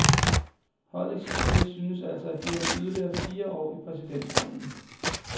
Holdets succes synes altså at give ham yderligere fire år i præsidentstolen.